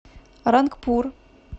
рангпур